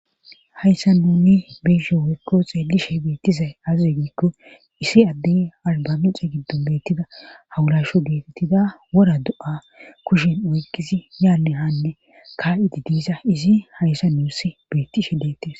hayssa nuni beisshe woykko xeelishe beettizay azize giikko isi addey albamixe giddon beettida hawulasho geetettida wora do7a kushen oykkisi yaanne haanne ka7idi diisa izi hayssa nuuss bettishe deettes